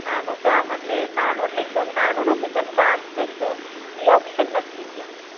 નાનુ કામ એટલ નાનું એકદમ નાનું નથી પણ કામ છે તો ઈ ઓપ્સન નથી ન્યાં.